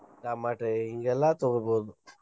Tomato ಹಿಂಗೆಲ್ಲಾ ತೊಗೊಬೊಹ್ದ್.